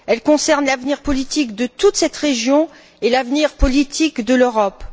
Elle concerne l'avenir politique de toute cette région et l'avenir politique de l'Europe.